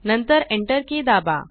नंतर Enter key दाबा